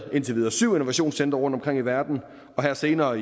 indtil videre syv innovationscentre rundtomkring i verden og her senere